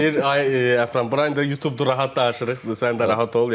Deyir ay Əfran, bura indi YouTubedur rahat danışırıq, sən də rahat ol.